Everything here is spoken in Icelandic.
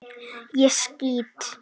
ÉG SKÝT!